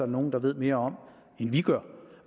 nogle der ved mere om end vi gør